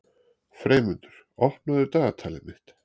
Freymundur, opnaðu dagatalið mitt.